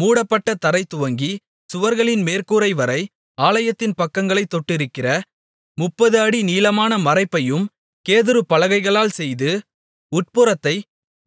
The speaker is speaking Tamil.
மூடப்பட்ட தரைதுவங்கி சுவர்களின் மேற்கூரைவரை ஆலயத்தின் பக்கங்களைத் தொட்டிருக்கிற 30 அடி நீளமான மறைப்பையும் கேதுரு பலகைகளால் செய்து உட்புறத்தை